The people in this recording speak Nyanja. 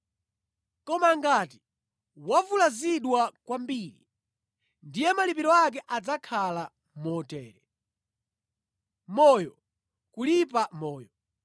Koma ngati wavulazidwa kwambiri, ndiye malipiro ake adzakhala motere: moyo kulipa moyo,